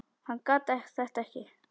Hann gat þetta ekki.